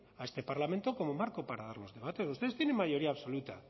a este parlamento como marco para dar los debates ustedes tienen mayoría absoluta